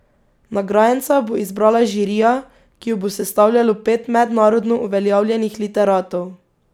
Nagrajenca bo izbrala žirija, ki jo bo sestavljalo pet mednarodno uveljavljenih literatov.